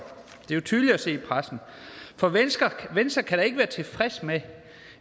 det er tydeligt at se i pressen for venstre kan da ikke være tilfreds med